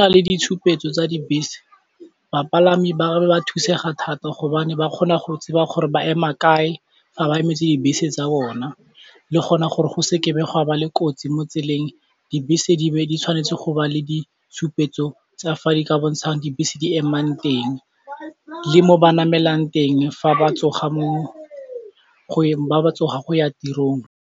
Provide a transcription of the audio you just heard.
na le ditshupetso tsa dibese bapalami ba be ba thusega thata hobane ba kgona go tseba gore ba ema kae fa ba emetse dibese tsa bona, le gona gore go se ke be ga ba le kotsi mo tseleng dibese di be di tshwanetse go ba le ditshupetso tsa fa di ka bontshang dibese di emang teng le mo ba namelang teng ba ba tsogang go ya tirong.